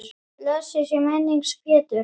Blessuð sé minning Péturs.